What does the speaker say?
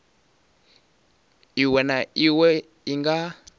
iwe na iwe i nga